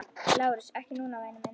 LÁRUS: Ekki núna, væni minn.